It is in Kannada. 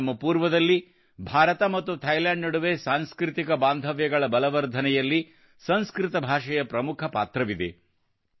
ಇತ್ತ ನಮ್ಮ ಪೂರ್ವದಲ್ಲಿ ಭಾರತ ಮತ್ತು ಥೈಲ್ಯಾಂಡ್ ನಡುವೆ ಸಾಂಸ್ಕೃತಿಕ ಬಾಂಧವ್ಯಗಳ ಬಲವರ್ಧನೆಯಲ್ಲಿ ಸಂಸ್ಕೃತ ಭಾಷೆಯ ಪ್ರಮುಖ ಪಾತ್ರವಿದೆ